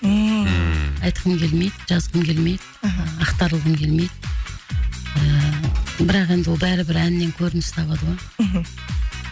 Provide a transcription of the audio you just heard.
ммм айтқым келмейді жазғым келмейді аха ақтарылғым келмейді ыыы бірақ енді ол бәрібір әннен көрініс табады ғой мхм